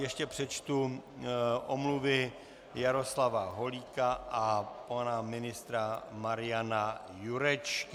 Ještě přečtu omluvy Jaroslava Holíka a pana ministra Mariana Jurečky.